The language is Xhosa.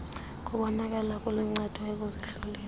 kubonakala kuluncedo ekuzihloleni